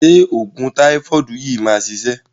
Ṣé òògùn táífọ̀dù yìí máa ṣiṣẹ́?